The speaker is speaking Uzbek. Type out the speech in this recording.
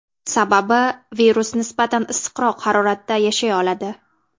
Sababi virus nisbatan issiqroq haroratda yashay oladi.